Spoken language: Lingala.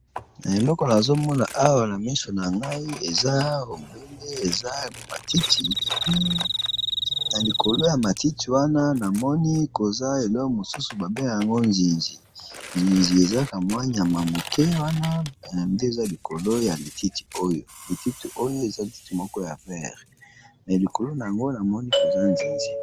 Na eleko na azomona awa na misho na ngai eza obele eza matitepi na likolo ya matiti wana na moni koza elo mosusu babena yango nzinzi nzinzi ezakamwanyama moke wana nde eza likolo ya lititi oyo lititi oyo eza lititi moko ya vere me likolona yango na moni koza nzinzi.